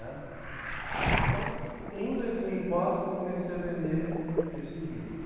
Né. Então, em dois mil e quatro comecei a vender esse livro.